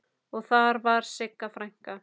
Og þar var Sigga frænka.